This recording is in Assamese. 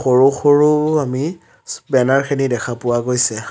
সৰু সৰু আমি বেনাৰখিনি দেখা পোৱা গৈছে।